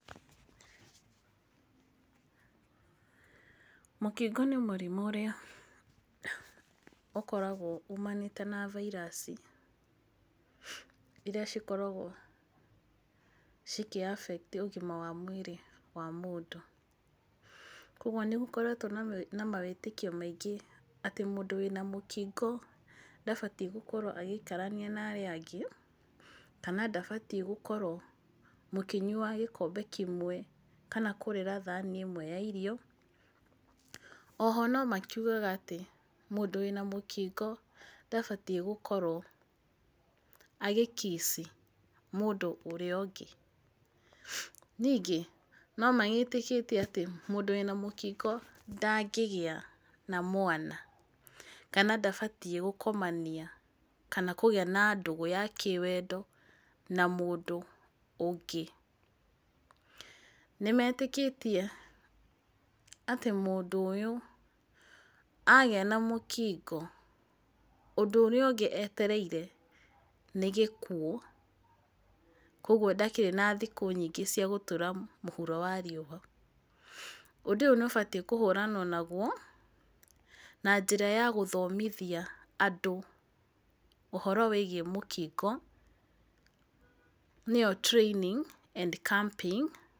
Mũkingo nĩ mũrimũ ũrĩa ũkoragwo uumanĩte na virus irĩa cikoragwo cikĩ affect ũgima wa mwĩrĩ wa mũndũ. Koguo nĩ gũkoretwo na mawĩtĩkio maingĩ atĩ mũndũ wĩna mũkingo ndabatiĩ gũkorwo agĩikarania na arĩa angĩ, kana ndabatiĩ gũkorwo mũkĩnyua gĩkombe kĩmwe kana kũrĩĩra thani ĩmwe ya irio. O ho no makiugaga atĩ mũndũ wĩna mũkingo ndabatiĩ gũkorwo agĩ kiss mũndũ ũrĩa ũngĩ. Ningĩ no magĩtĩkĩtie atĩ mũndũ wĩna mũkingo ndangĩgĩa na mwana kana ndabatiĩ gũkomania kana kũgĩa na ndũgũ ya kĩwendo na mũndũ ũngĩ. Nĩ metĩkĩtie atĩ mũndũ ũyũ agĩa na mũkingo ũndũ ũrĩa ũngĩ etereire nĩ gĩkuo. Koguo ndakĩrĩ na thikũ nyingĩ cia gũtũra mũhuro wa riũa. Ũndũ ũyũ nĩ ũbatiĩ kũhũranwao naguo na njĩra ya gũthomithia andũ ũhoro wĩgiĩ mũkingo, nĩyo training and camping...